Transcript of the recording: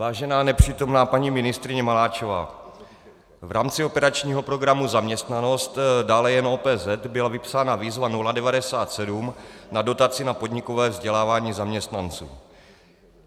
Vážená nepřítomná paní ministryně Maláčová, v rámci operačního programu Zaměstnanost, dále jen OPZ, byla vypsána výzva 097 na dotaci na podnikové vzdělávání zaměstnanců.